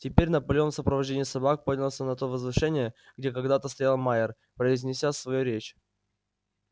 теперь наполеон в сопровождении собак поднялся на то возвышение где когда-то стоял майер произнеся свою речь